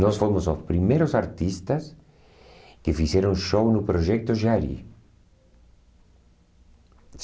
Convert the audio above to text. Nós fomos os primeiros artistas que fizeram show no Projeto Jari.